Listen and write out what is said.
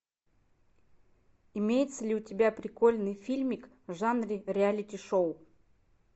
имеется ли у тебя прикольный фильмик в жанре реалити шоу